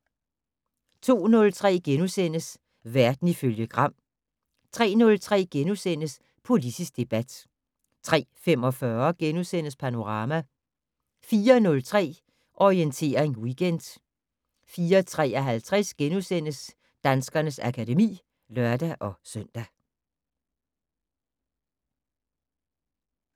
02:03: Verden ifølge Gram * 03:03: Politisk debat * 03:45: Panorama * 04:03: Orientering Weekend 04:53: Danskernes akademi *(lør-søn)